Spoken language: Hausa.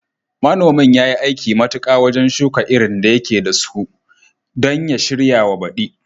Manomin yayi aiki matuka wajen shuka irin da yake dasu don ya shiryawa baďi